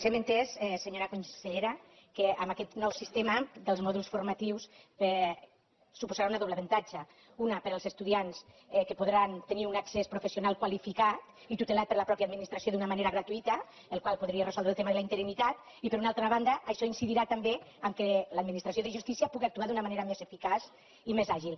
hem entès senyora consellera que aquest nou sistema dels mòduls formatius suposarà un doble avantatge un per als estudiants que podran tenir un accés professional qualificat i tutelat per la mateixa administració d’una manera gratuïta la qual cosa podria resoldre el tema de la interinitat i per una altra banda això incidirà també que l’administració de justícia puga actuar d’una manera més eficaç i més àgil